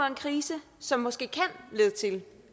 en krise som måske kan lede til